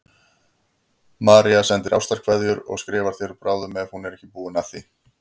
Marie sendir ástarkveðjur og skrifar þér bráðum ef hún er ekki búin að því.